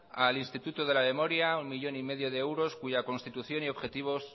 al instituto de la memoria uno millón y medio de euros cuya constitución y objetivos